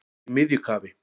Í miðju kafi